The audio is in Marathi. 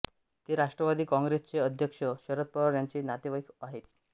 ते राष्ट्रवादी कॉंग्रेसचे अध्यक्ष शरद पवार यांचे नातेवाईक आहेत